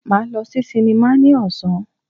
Máa lọ sí sinimá ní ọ̀sán.